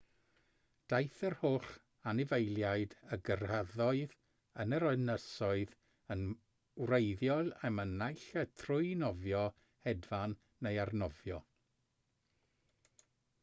daeth yr holl anifeiliaid a gyrhaeddodd yr ynysoedd yn wreiddiol yma naill ai trwy nofio hedfan neu arnofio